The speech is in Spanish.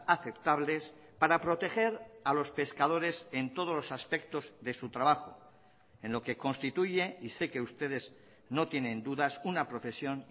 aceptables para proteger a los pescadores en todos los aspectos de su trabajo en lo que constituye y sé que ustedes no tienen dudas una profesión